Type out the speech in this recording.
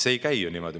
See ei käi ju niimoodi.